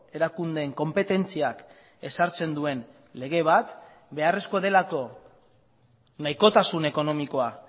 erakundeen konpetentziak ezartzen duen lege bat beharrezkoa delako nahikotasun ekonomikoa